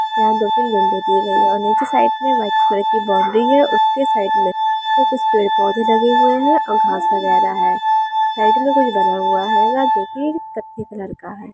यहां दो-तीन विंडो दिये गए है और नीचे साइड में व्हाइट कलर की बाउंड्री है उसके साइड में कुछ पेड़-पौधे लगे हुए है और घास वगेरा है साइड में कुछ बना हुआ है यह जो कि कत्थई कलर का है।